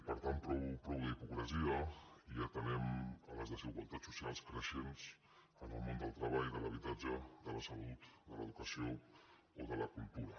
per tant prou d’hipocresia i atenem a les desigualtats socials creixents en el món del treball de l’habitatge de la salut de l’educació o de la cultura